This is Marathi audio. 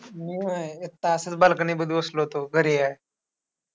मी व्हय. एकटा असंच balcony मध्ये बसलो होतो. घरी आहे.